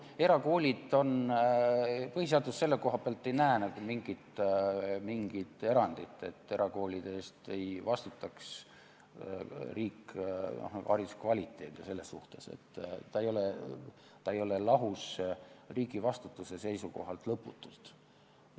Põhiseadus ei näe selle koha pealt ette mingit erandit, et erakoolide eest ei vastutaks riik, hariduse kvaliteedi ja selle suhtes, ta ei ole riigi vastutuse seisukohalt lõputult lahus.